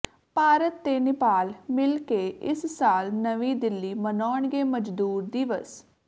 ਭਾਰਤ ਤੇ ਨਿਪਾਲ ਮਿਲ ਕੇ ਇਸ ਸਾਲ ਨਵੀਂ ਦਿੱਲੀ ਮਨਾਉਗੇ ਮਜ਼ਦੂਰ ਦਿਵਸ